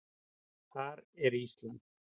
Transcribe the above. Þar er Ísland.